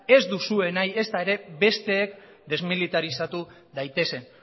ez duzue nahi ezta ere besteek desmilitarizatu daitezen